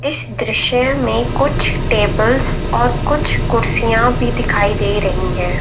इस दृश्य में कुछ टेबल्स और कुछ कुर्सियां भी दिखाई दे रही हैं।